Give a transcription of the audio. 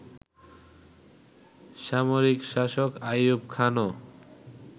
সামরিক শাসক আইয়ুব খানও